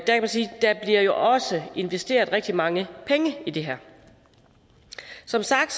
der jo også investeret rigtig mange penge i det her som sagt